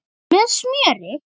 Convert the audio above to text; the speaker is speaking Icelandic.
Með smjöri.